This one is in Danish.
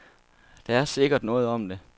Der er sikkert noget om det.